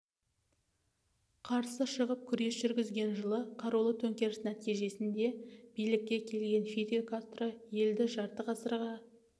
қарсы шығып күрес жүргізген жылы қарулы төңкеріс нәтижесінде билікке келген фидель кастро елді жарты ғасырға